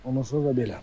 Ondan sonra da belə.